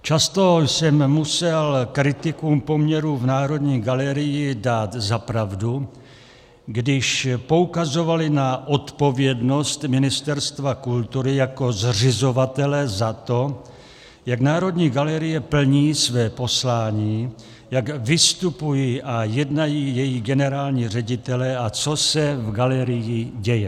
Často jsem musel kritikům poměrů v Národní galerii dát za pravdu, když poukazovali na odpovědnost Ministerstva kultury jako zřizovatele za to, jak Národní galerie plní své poslání, jak vystupují a jednají její generální ředitelé a co se v galerii děje.